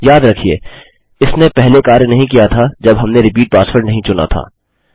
याद रखिये इसने पहले कार्य नहीं किया था जब हमने रिपीट पासवर्ड नहीं चुना था